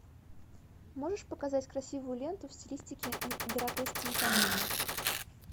можешь показать красивую ленту в стилистике гротескной комедии